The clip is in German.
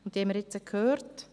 Diese haben wir jetzt gehört.